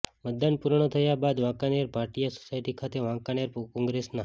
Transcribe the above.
મતદાન પૂર્ણ થયા બાદ વાંકાનેર ભાટીયા સોસાયટી ખાતે વાંકાનેર કોંગ્રેસના